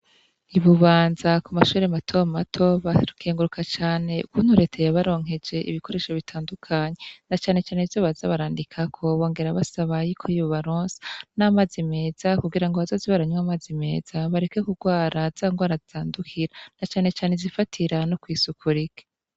I Bubanza kumashure mato mato barakenguruka cane ingene Leta yabaronkeje ibikoresho bitandukanye na cane cane ivyo baza barandikako bongera basaba yuko yobaronsa n’amazi meza kugirango bazoze baranwa amazi meza bareke kugwara za ngwara zandukira na cane cane izifatira no kw’isuku rike.